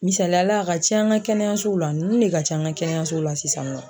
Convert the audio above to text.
Misaliya la a ka can an ka kɛnɛyasow la ninnu ne ka ca an ka kɛnɛyasow la sisan nɔ.